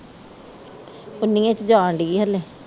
ਉਨੀਏ ਚ ਜਾਣਦੀ ਹਲੇ